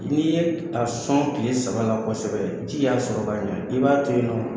N'i ye a sɔn tile saba la kosɛbɛ, ji y'a sɔrɔ ka ɲɛ. I b'a to yen nɔ.